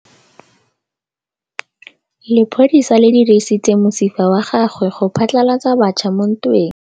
Lepodisa le dirisitse mosifa wa gagwe go phatlalatsa batšha mo ntweng.